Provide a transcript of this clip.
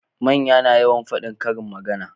Manya na yawan fadin karin magana